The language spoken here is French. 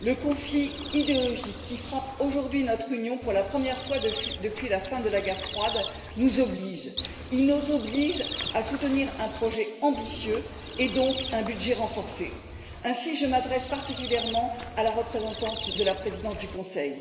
Le conflit idéologique qui frappe aujourd'hui notre Union pour la première fois depuis la fin de la guerre froide nous oblige à soutenir un projet ambitieux et, donc, un budget renforcé. Ainsi, je m'adresse particulièrement à la représentante de la présidence du Conseil.